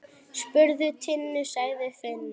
Spurðu Tinnu, sagði Finnur.